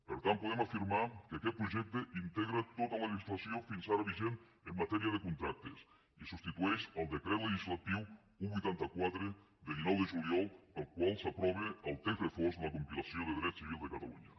per tant podem afirmar que aquest projecte integra tota la legislació fins ara vigent en matèria de contractes i substitueix el decret legislatiu un vuitanta quatre de dinou de juliol pel qual s’aprova el text refós de la compilació de dret civil de catalunya